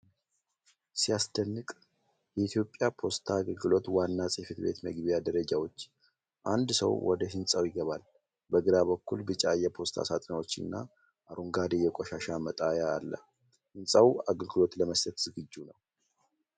ሲያስደንቅ! የኢትዮጵያ ፖስታ አገልግሎት ዋና ጽሕፈት ቤት መግቢያ ደረጃዎች። አንድ ሰው ወደ ህንፃው ይገባል። በግራ በኩል ቢጫ የፖስታ ሳጥኖችና አረንጓዴ የቆሻሻ መጣያ አለ። ህንጻው አገልግሎት ለመስጠት ዝግጁ ነው።